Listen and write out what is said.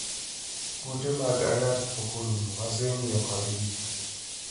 "Kute mag ayaki pokorumo - wasengiyo kodgi